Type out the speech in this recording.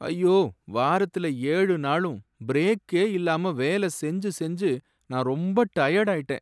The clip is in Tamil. ஐயோ! வாரத்துல ஏழு நாளும் பிரேக்கே இல்லாம வேல செஞ்சு செஞ்சு நான் ரொம்ப டயர்டாயிட்டேன்